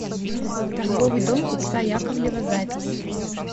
торговый дом купца яковлева запись